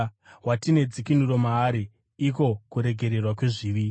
watine dzikinuro maari, iko kuregererwa kwezvivi.